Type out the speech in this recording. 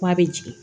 K'a bɛ jigin